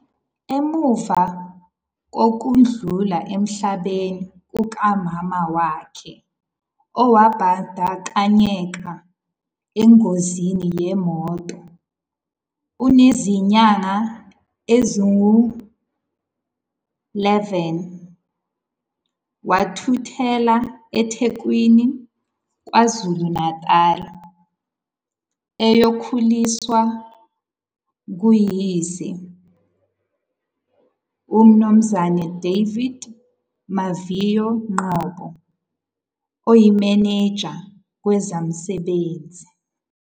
Emuva kokudlula emhlabeni kukaMama wakhe owabandakanyeka engozini yemoto enezinyanga ezingu-11, wathuthela eThekwini, KwaZulu-Natal eyokhuliswa nguyise, uMnumzane David Maviyo Ngcobo, oyimenenja kwezabasebenzi.